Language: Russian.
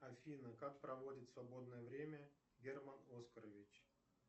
афина как проводит свободное время герман оскарович